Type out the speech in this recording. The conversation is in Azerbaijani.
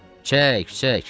Çək, çək.